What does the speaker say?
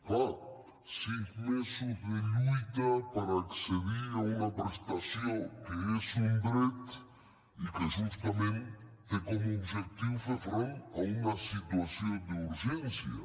clar sis mesos de lluita per accedir a una prestació que és un dret i que justament té com a objectiu fer front a una situació d’urgència